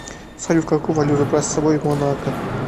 салют какую валюту брать с собой в монако